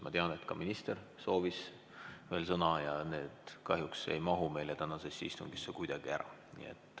Ma tean, et ka minister soovis veel sõna, aga see kõik ei mahu kahjuks meie tänasesse istungisse kuidagi ära.